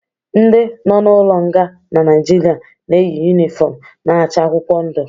Ndi nọ n'ụlo nga na Nigeria na-eyi unịfọm na-acha akwụkwọ ndụ